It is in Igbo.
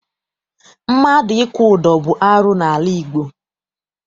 Mmadụ ịkwụ ụdọ bụ arụ n'ala Igbo.